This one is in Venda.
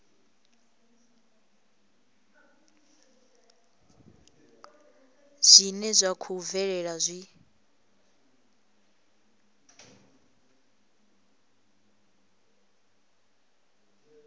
zwine zwa khou bvelela zwi